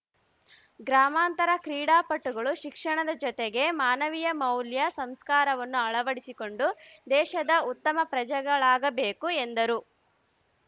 ಗ್ರಾಮಾಂತರ ಕ್ರೀಡಾಪಟುಗಳು ಶಿಕ್ಷಣದ ಜೊತೆಗೆ ಮಾನವೀಯ ಮೌಲ್ಯ ಸಂಸ್ಕಾರವನ್ನು ಅಳವಡಿಸಿಕೊಂಡು ದೇಶದ ಉತ್ತಮ ಪ್ರಜೆಗಳಾಬೇಕು ಎಂದರು